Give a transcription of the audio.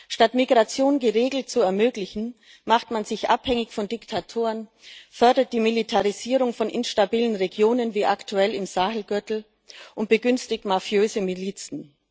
Statt Migration geregelt zu ermöglichen, macht man sich abhängig von Diktatoren, fördert die Militarisierung von instabilen Regionen wie aktuell im Sahel Gürtel und begünstigt mafiöse Milizen.